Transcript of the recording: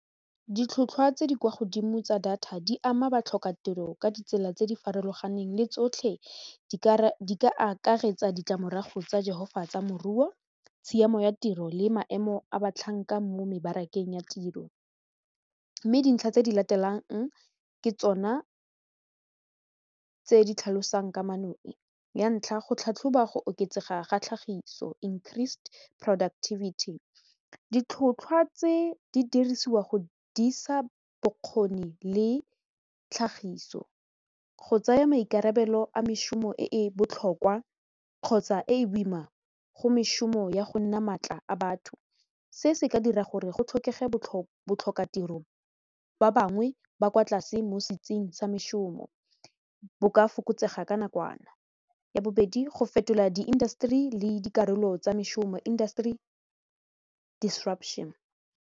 Ditlhotlhwa tse di kwa godimo tsa data di ama batlhokatiro ka ditsela tse di farologaneng le tsotlhe di ka akaretsa ditlamorago tsa jehovah tsa moruo tshiamo ya tiro le maemo a batlhanka mo mebarakeng ya tiro mme dintlha tse di latelang ke tsona tse di tlhalosang kamano e, ya ntlha go tlhatlhoba go oketsega ga tlhagiso increased productivity, ditlhotlhwa tse di dirisiwa go dirisa bokgoni le tlhagiso go tsaya maikarabelo a mešomo e e botlhokwa kgotsa e e boima go mešomo ya go nna maatla a batho se se ka dira gore go tlhokege botlhokatiro ba bangwe ba kwa tlase mo setsing sa mešomo bo ka fokotsega ka nakwana ya bobedi go fetola di industry le dikarolo tsa mešomo industry disruption.